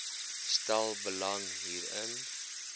stel belang hierin